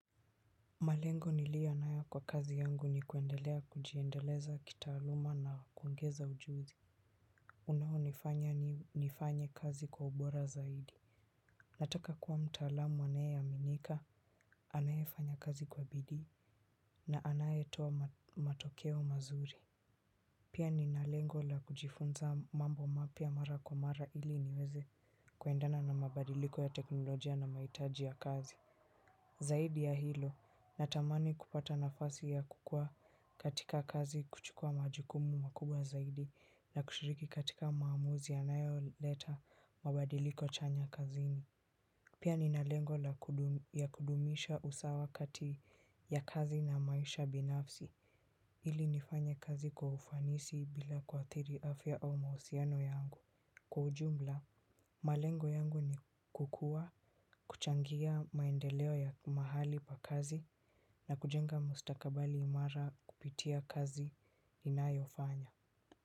Malengo niliyo nayo kwa kazi yangu ni kuendelea kujiendeleza kitaaluma na kuongeza ujuzi. Unaonifanya ni nifanye kazi kwa ubora zaidi. Nataka kuwa mtaalamu anaye aminika, anaye fanya kazi kwa bidii na anaye toa matokeo mazuri. Pia nina lengo la kujifunza mambo mapya mara kwa mara ili niweze kuendana na mabadiliko ya teknolojia na mahitaji ya kazi. Zaidi ya hilo, natamani kupata nafasi ya kukua katika kazi kuchukua majukumu makubwa zaidi na kushiriki katika maamuzi yanayoleta mabadiliko chanya kazini pia nina lengo ya kudumisha usawa kati ya kazi na maisha binafsi ili nifanye kazi kwa ufanisi bila kuathiri afya au mahusiano yangu kwa ujumla, malengo yangu ni kukuwa kuchangia maendeleo ya mahali pa kazi na kujenga mustakabali imara kupitia kazi ninayo fanya.